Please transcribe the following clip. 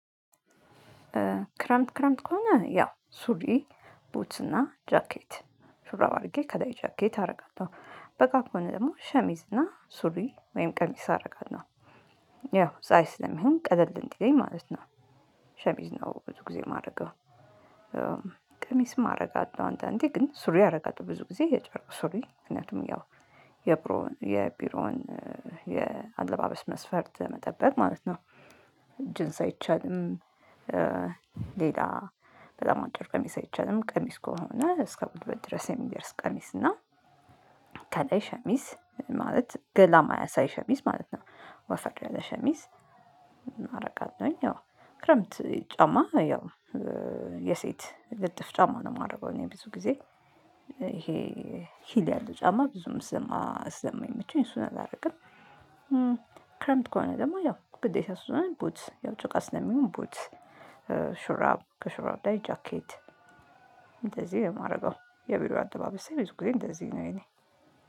ክረምት ክረምት ከሆነ ያው ሱሪ፣ ቡትስ እና ጃኬት፤ ሹራብ አርጌ ከላይ ጃኬት አረጋለሁ። በጋም ከሆነ ደግሞ ሸሚዝ እና ሱሪ ወይም ቀሚስ አረጋለሁ፤ ያው ፀሀይ ስለሚሆን ቀለል እንዲለኝ ማለት ነው። ሸሚዝ ነው ብዙ ጊዜ ማረገው። ቀሚስም አረጋለሁ አንዳንዴ ግን ሱሪ አረጋለው ብዙ ጊዜ የጨረቅ ሱሪ ምክንያቱም ያው የቢሮውን የቢሮውን የአለባበስ መስፈርት ለመጠበቅ ማለት ነው። ጅንስ አይቻልም ሌላ በጣም አጭር ቀሚስ አይቻልም፤ ቀሚስ ከሆነ እስከ ጉልበት ድረስ የሚደርስ ቀሚስ እና ከለይ ሸሚዝ፤ ማለት ገላ ማያሳይ ሸሚዝ ማለት ነው ወፈር ያለ ሸሚዝ አረጋለሁኝ ያው ክረምት ጫማ ያው የሴት ልጥፍ ጫማ ነው ማረገው እኔ ብዙ ጊዜ ይሄ ሂል ያለው ጫማ ብዙም ስለማይመቸኝ እሱን አላረግም። ክረምት ከሆነ ደግሞ ያው ግዴታ ስለሆነ ቡትስ ያው ጭቃ ስለሚሆን ቡትስ ሹራብ ከሹራብ ላይ ጃኬት እንደዚህ ነው ማረገው፤ የቢሮ አለባበሴ ብዙ ጊዜ እንደዚህ ነው የእኔ